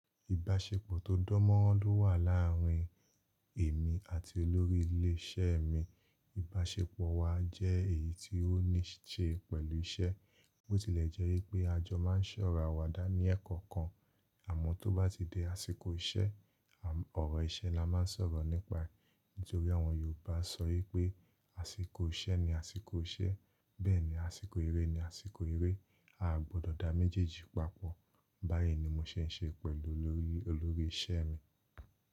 Ìbáṣepọ̀ tó dán mọ́rán ló wà làárín èmi àti olórí ilé iṣẹ́ mi. Ìbáṣepọ̀ wa jẹ́ èyí ti ó ní ṣe pẹ̀lú iṣẹ́. Bó tilẹ̀ jẹ́ wi pé a jọ máa ń se ọ̀rọ̀ àwàdà ní ẹ̀kan kan, àmọ́ tó bá ti di àsìkò iṣẹ́, ọ̀rọ̀ iṣẹ́ la máa ń sọ̀rọ̀ nípa e. Nítorí àwọn Yorùbá sọ wí pé àsìkò iṣẹ́ ni àsìkò iṣẹ́, bẹ́ẹ̀ ni àsìkò eré ni àsìkò eré. A gbọdọ̀ dá méjèèjì papọ̀. Báyìí ni mo ṣe ń ṣe pẹ̀lú olórí iṣẹ́ mi.